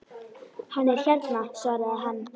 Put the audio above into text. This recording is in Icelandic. Hann er hérna svaraði hann.